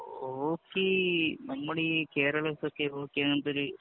hockey നമ്മുടെ ഈ കേരള